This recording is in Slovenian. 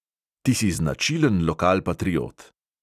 Ti si značilen lokalpatriot.